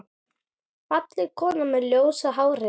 Fallega konan með ljósa hárið.